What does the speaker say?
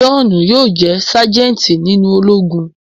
Johnu yóò jẹ sajenti nínú Ológùn